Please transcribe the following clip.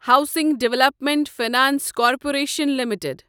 housing development finance corporation limited